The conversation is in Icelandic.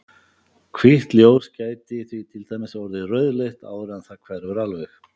Hvítt ljós gæti því til dæmis orðið rauðleitt áður en það hverfur alveg.